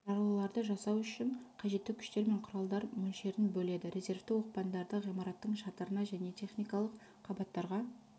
жарылуларды жасау үшін қажетті күштер мен құралдар мөлшерін бөледі резервті оқпандарды ғимараттың шатырына және техникалық қабаттарға